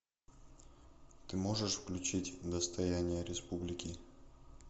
ты можешь включить достояние республики